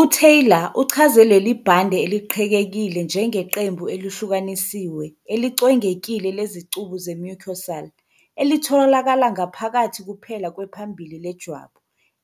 UTaylor uchaze leli bhande eliqhekekile njengeqembu elihlukanisiwe elicwengekile lezicubu ze-mucosal, elitholakala ngaphakathi kuphela kwephambili lejwabu